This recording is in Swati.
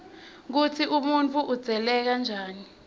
kutsi umuntfu udzaleke njani